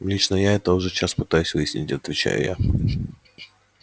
лично я это уже час пытаюсь выяснить отвечаю я